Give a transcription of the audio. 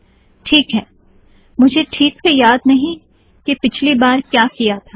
teak है - मुझे टीक से याद नहीं कि पिछली बार क्या किया था